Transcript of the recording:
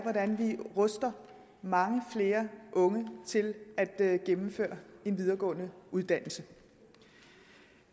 hvordan vi ruster mange flere unge til at gennemføre en videregående uddannelse